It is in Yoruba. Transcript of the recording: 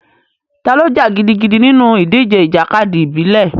Ta ló jà gidigidi nínú ìdíje ìjàkadì ìbílẹ̀?